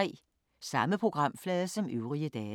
Samme programflade som øvrige dage